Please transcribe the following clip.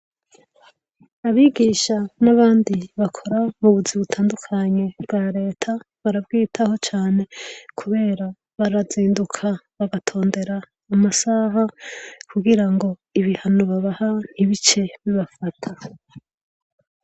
Abigisha n'abandi bakora m'ubuzi butandukanye bwa reta barabwitaho cane kubera barazinduka bagatondera amasaha kugira ngo ibihano babaha ntibice bibafata.